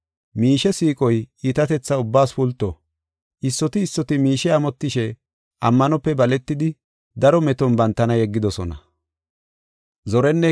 Miishe siiqoy iitatetha ubbaas pulto. Issoti issoti miishe amotishe ammanope baletidi daro meton bantana yeggidosona.